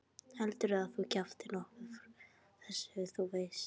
Heldurðu að þú kjaftir nokkuð frá þessu. þú veist?